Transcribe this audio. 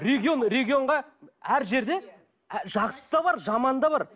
регион регионға әр жерде жақсысы да бар жаманы да бар